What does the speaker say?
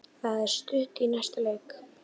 Það er stutt í næsta leik.